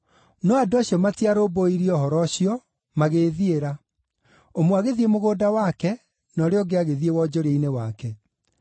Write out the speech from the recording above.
“No andũ acio matiarũmbũirie ũhoro ũcio magĩĩthiĩra, ũmwe agĩthiĩ mũgũnda wake, na ũrĩa ũngĩ agĩthiĩ wonjoria-inĩ wake.